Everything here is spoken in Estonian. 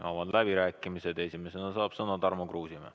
Avan läbirääkimised ja esimesena saab sõna Tarmo Kruusimäe.